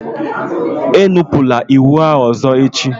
Enupụla iwu ahụ ọzọ echi!